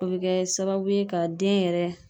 O be kɛ sababu ye ka den yɛrɛ